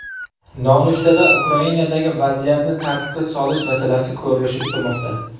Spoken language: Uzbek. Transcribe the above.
Nonushtada Ukrainadagi vaziyatni tartibga solish masalasi ko‘rilishi kutilmoqda.